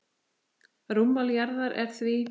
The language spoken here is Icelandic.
Rúmmál jarðar er því